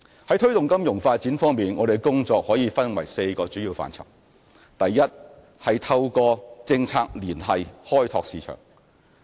在推動金融發展方面，我們的工作可分為4個主要範疇：第一，透過政策聯繫開拓市場。